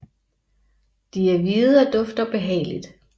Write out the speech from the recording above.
De er hvide og dufter behageligt